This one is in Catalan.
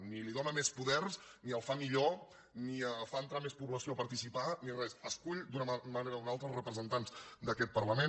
ni li dóna més poders ni el fa millor ni fa entrar més població a participar ni res escull d’una manera o d’una altra representants d’aquest parlament